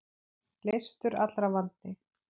Leystur allra vandi.